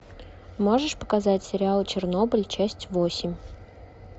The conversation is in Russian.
можешь показать сериал чернобыль часть восемь